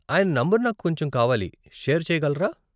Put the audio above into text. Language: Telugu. ఆయన నంబర్ నాకు కొంచెం కావాలి షేర్ చెయ్యగలరా?